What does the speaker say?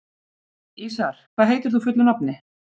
Ísarr, hvað heitir þú fullu nafni?